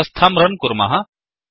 व्यवस्थां रन् कुर्मः